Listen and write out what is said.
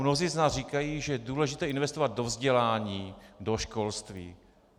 Mnozí z nás říkají, že je důležité investovat do vzdělání, do školství.